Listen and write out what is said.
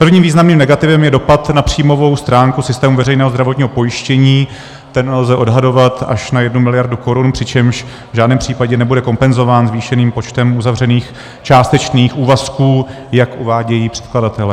Prvním významným negativem je dopad na příjmovou stránku systému veřejného zdravotního pojištění, ten lze odhadovat až na jednu miliardu korun, přičemž v žádném případě nebude kompenzován zvýšeným počtem uzavřených částečných úvazků, jak uvádějí předkladatelé.